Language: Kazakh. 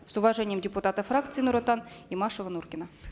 с уважением депутаты фракции нур отан имашева нуркина